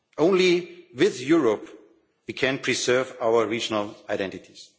Only with Europe we can preserve our regional identities.